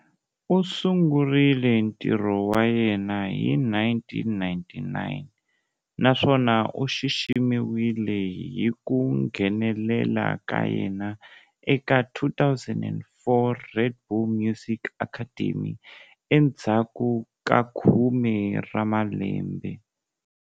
U sungurile ntirho wa yena hi 1999, naswona u xiximiwile hi ku nghenelela ka yena eka 2004 Red Bull Music Academy endzhaku ka khume ra malembe.